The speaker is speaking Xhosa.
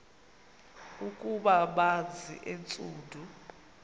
ukuba banzi entsundu